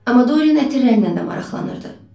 Amma Dorian ətirlərlə də maraqlanırdı.